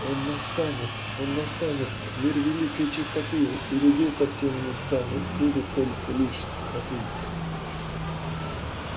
он настанет он настанет мир великой чистоты и людей совсем не станет будут только лишь скоты